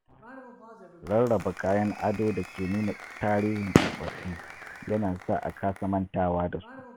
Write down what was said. Rarraba kayan ado da ke nuna tarihin tsofaffi ya na sa a kasa mantawa da su